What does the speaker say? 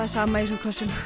sama í þessum kössum